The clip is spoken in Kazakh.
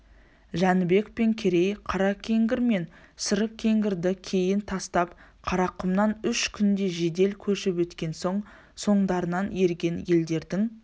жәнібек пен керей қаракеңгір мен сарыкеңгірді кейін тастап қарақұмнан үш күнде жедел көшіп өткен соң соңдарынан ерген елдердің